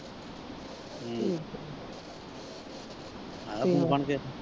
ਹਮ ਆਇਆ phone ਫਾਨ ਫਿਰ।